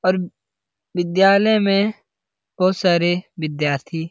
और विद्यालय में बहुत सारे विद्यार्थी --